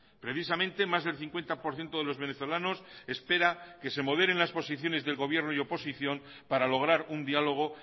precisamente más del cincuenta por ciento de los venezolanos espera que se moderen las posiciones del gobierno y oposición para lograr un diálogo